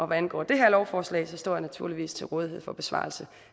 hvad angår det her lovforslag står jeg naturligvis til rådighed for besvarelse